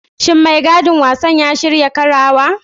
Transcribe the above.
Shin maigidan wasan ya shirya karawa?